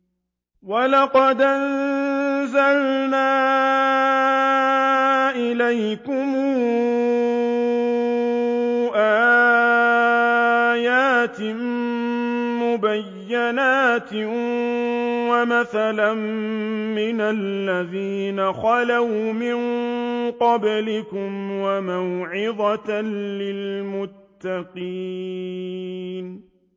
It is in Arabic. وَلَقَدْ أَنزَلْنَا إِلَيْكُمْ آيَاتٍ مُّبَيِّنَاتٍ وَمَثَلًا مِّنَ الَّذِينَ خَلَوْا مِن قَبْلِكُمْ وَمَوْعِظَةً لِّلْمُتَّقِينَ